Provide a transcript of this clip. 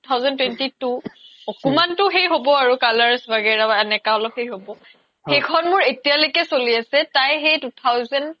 two thousand twenty two একমানটো সেই হ্'বৈ colors ৱাগেৰা এনাকা অলপ সেই হ্'ব সেইখন মোৰ এতিয়া লৈকে চ্লি আছে তাই সেই two thousand